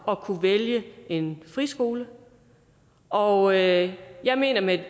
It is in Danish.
at kunne vælge en friskole og jeg jeg mener at med